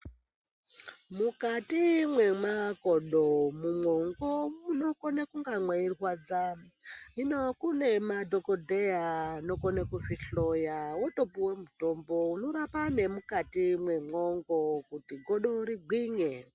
Mukati mwemakodo mumwongo munokone kunga meirwadza hino kune madhokodheya anokone kuzvihloya wotopuwe mutombo unorapa nemukati mwemwongo kuti godo rigwinye.